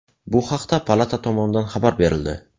Bu haqda palata tomonidan xabar berildi .